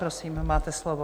Prosím, máte slovo.